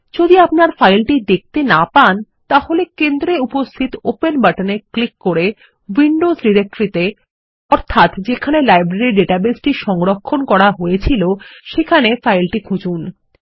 যদি আপনার ফাইলটি দেখতে না পান তাহলে কেন্দ্রে উপস্থিত ওপেন বাটনে ক্লিক করে উইন্ডোজ ডিরেক্টরিত়ে অর্থাৎ যেখানে লাইব্রেরী ডাটাবেসটি সংরক্ষণ করা হয়েছিল সেখানে ফাইলটি খুঁজুন